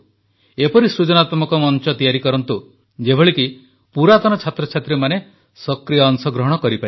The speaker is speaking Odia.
ଏପରି ସୃଜନାତ୍ମକ ମଞ୍ଚ ତିଆରି କରନ୍ତୁ ଯେପରିକି ପୁରାତନ ଛାତ୍ରଛାତ୍ରୀମାନେ ସକ୍ରିୟ ଅଂଶଗ୍ରହଣ କରିପାରିବେ